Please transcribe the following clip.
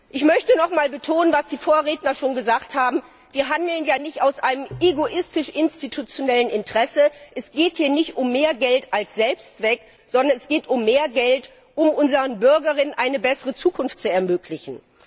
Ich möchte noch einmal betonen, was die Vorredner schon gesagt haben Wir handeln ja nicht aus einem egoistisch institutionellen Interesse, es geht hier nicht um mehr Geld als Selbstzweck, sondern es geht um mehr Geld, um unseren Bürgerinnen und Bürgern eine bessere Zukunft zu ermöglichen!